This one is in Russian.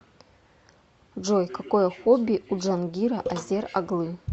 джой какое хобби у джангира азер оглы